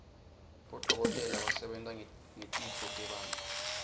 bodokotela basebenta ngetitfo tebantfu